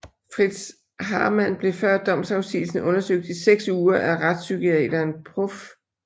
Fritz Haarmann blev før domsafsigelsen undersøgt i 6 uger af retspsykiateren Prof